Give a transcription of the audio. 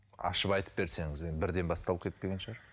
ашып айтып берсеңіз енді бірден басталып кетпеген шығар